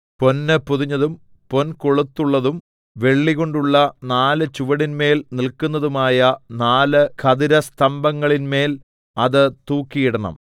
പൊന്ന് പൊതിഞ്ഞതും പൊൻകൊളുത്തുള്ളതും വെള്ളികൊണ്ടുള്ള നാല് ചുവടിന്മേൽ നില്‍ക്കുന്നതുമായ നാല് ഖദിരസ്തംഭങ്ങളിന്മേൽ അത് തൂക്കിയിടണം